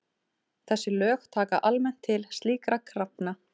Þessi lög taka almennt til slíkra krafna.